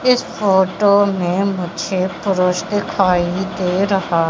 इस फोटो में मुझे पुरुष दिखाई दे रहा--